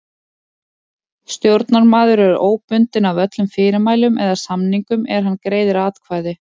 Stjórnarmaður er óbundinn af öllum fyrirmælum eða samningum er hann greiðir atkvæði.